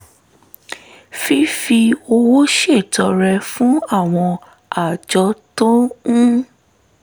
fífi owó ṣètọrẹ fún àwọn àjọ tó ń